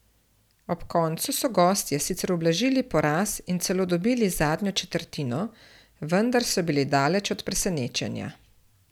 Ob koncu so gostje sicer ublažili poraz in celo dobili zadnjo četrtino, vendar so bili daleč od presenečenja.